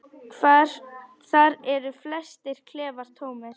Þar eru flestir klefar tómir.